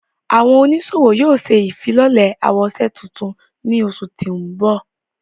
Àwọn onisowo yóò ṣe ifilọlẹ awoṣe tuntun ni oṣu ti nbọ.